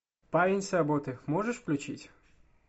парень с работы можешь включить